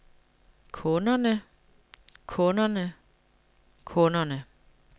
kunderne kunderne kunderne